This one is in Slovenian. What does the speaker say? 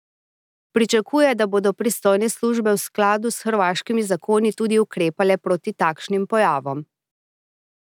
Pričakuje, da bodo pristojne službe v skladu s hrvaškimi zakoni tudi ukrepale proti takšnim pojavom.